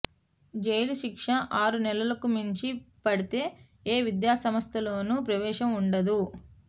jail శిక్ష ఆరు నెలలకు మించి పడితే ఏ విద్యాసంస్థలోనూ ప్రవేశం ఉండదు